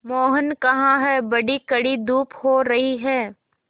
मोहन कहाँ हैं बड़ी कड़ी धूप हो रही है